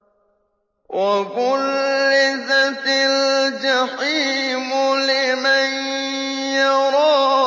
وَبُرِّزَتِ الْجَحِيمُ لِمَن يَرَىٰ